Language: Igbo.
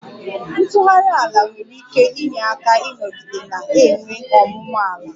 Ntughari ala nwere ike inye aka ịnọgide na-enwe ọmụmụ ala